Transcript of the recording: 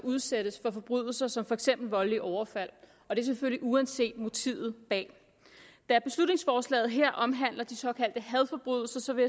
udsættes for forbrydelser som for eksempel voldelige overfald og det selvfølgelig uanset motivet bag da beslutningsforslaget her omhandler de såkaldte hadforbrydelser vil